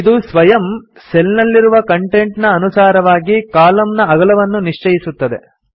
ಇದು ಸ್ವಯಂ ಸೆಲ್ ನಲ್ಲಿರುವ ಕಂಟೆಂಟ್ ನ ಅನುಸಾರವಾಗಿ ಕಾಲಮ್ ನ ಅಗಲವನ್ನು ನಿಶ್ಚಯಿಸುತ್ತದೆ